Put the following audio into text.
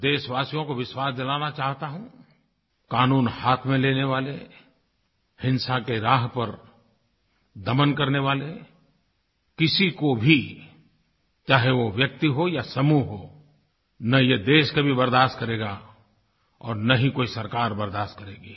मैं देशवासियों को विश्वास दिलाना चाहता हूँ कानून हाथ में लेने वाले हिंसा के राह पर दमन करने वाले किसी को भी चाहे वो व्यक्ति हो या समूह हो न ये देश कभी बर्दाश्त करेगा और न ही कोई सरकार बर्दाश्त करेगी